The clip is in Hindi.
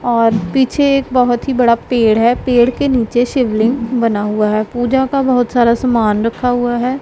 और पीछे एक बहुत ही बड़ा पेड़ है पेड़ के नीचे शिवलिंग बना हुआ है पूजा का बहुत सारा सामान रखा हुआ है।